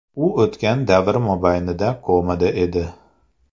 U o‘tgan davr mobaynida komada edi.